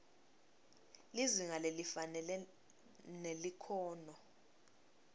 lizinga lelifanele nelikhono